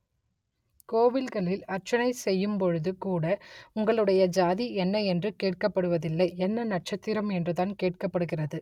கோவில்களில் அர்ச்சனை செய்யும்பொழுது கூட உங்களுடைய ஜாதி என்ன என்று கேட்கப்படுவதில்லை என்ன நட்சத்திரம் என்றுதான் கேட்கப்படுகிறது